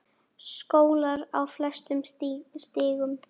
Skólar á flestum stigum.